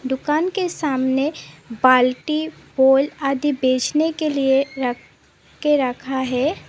दुकान के सामने बाल्टी पॉल आदि बेचने के लिए रख के रखा है।